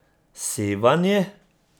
Sevanje.